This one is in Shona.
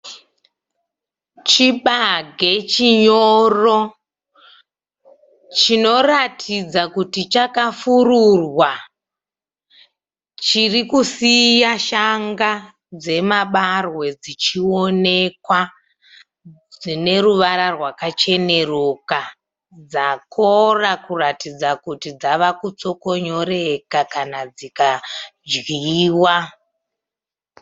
Chibage chinyoro chinoratidza kuti chakafururwa. Chirikusiya shanga dzemabarwe dzichionekwa dzineruvara rwakacheneruka dzakora kuratidza kuti dzavakutsokonyoreka kana dzikadyiwa.